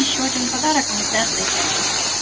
ещё один подарок камуфляжная кепка